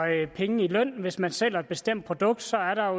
penge i løn hvis man sælger et bestemt produkt så er der